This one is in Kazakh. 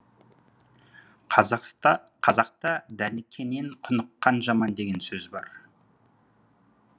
қазақта дәніккенен құныққан жаман деген сөз бар